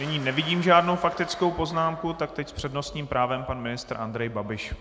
Nyní nevidím žádnou faktickou poznámku, tak teď s přednostním právem pan ministr Andrej Babiš.